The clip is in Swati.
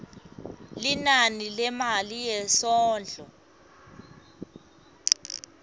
linani lemali yesondlo